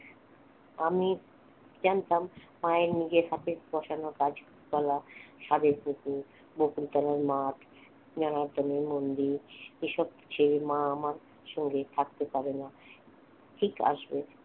আমি জানতাম মায়ের নিজের হাতের বসানো গাছপালা সাধের পুকুর বকুলতলার মাঠ যেনাতলের মন্দির এসব ছেড়ে মা আমার সঙ্গে থাকতে পারেনা ঠিক আসবে